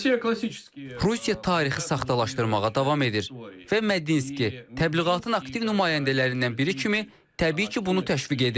Rusiya tarixi saxtalaşdırmağa davam edir və Medinski təbliğatın aktiv nümayəndələrindən biri kimi təbii ki, bunu təşviq edir.